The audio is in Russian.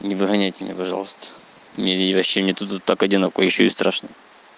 не выгоняйте меня пожалуйста мне вообще нету так одиноко ещё и страшно